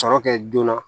Sɔrɔ kɛ joona